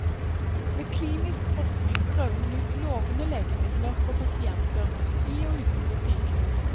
Ved klinisk forskning prøver man ut lovende legemidler på pasienter i og utenfor sykehus.